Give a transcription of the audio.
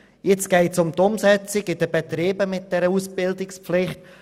Jetzt geht es um die Umsetzung in den Betrieben mit Ausbildungspflicht.